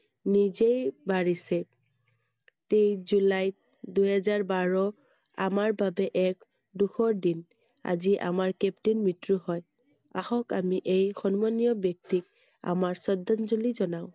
নিজেই বাঢ়িছেI তেইশ জুলাইত দুহেজাৰ বাৰ আমাৰ বাবে এক দুখৰ দিন I আজি আমাৰ captain মৃত্যু হয়I আহক আমি এই সম্মানীয় ব্য়ক্তিক আমাৰ শ্ৰদ্ধাঞ্জলি জনাও I